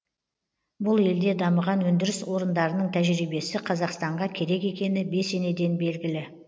бұл елде дамыған өндіріс орындарының тәжірибесі қазақстанға керек екені бесенеден белгілі